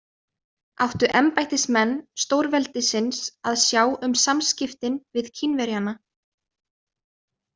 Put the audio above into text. Áttu embættismenn stórveldisins að sjá um samskiptin við Kínverjana?